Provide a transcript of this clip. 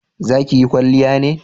za ki yi kwalliya ne?